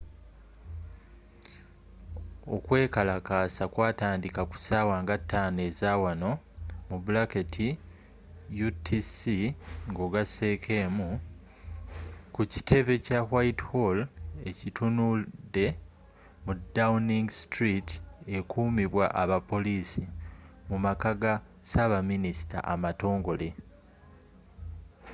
okwekalakaasa kwataandika kussaawa nga 5 ezaawanoutc+1 ku kitebe kya whitehall ekitunudde mu downing street ekuumibwa abapoliisi mumaka ga saabaminisita amatongole